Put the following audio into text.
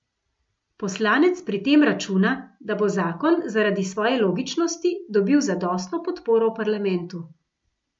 Poslanec pri tem računa, da bo zakon zaradi svoje logičnosti dobil zadostno podporo v parlamentu.